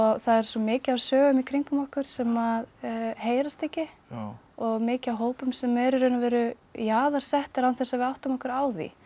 það er svo mikið af sögum í kringum okkur sem að heyrast ekki og mikið af hópum sem eru í raun og veru jaðarsettir án þess að við áttum okkur á því